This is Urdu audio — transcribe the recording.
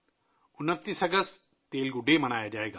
29 اگست کو تیلگو ڈے کے طور پر منایا جائے گا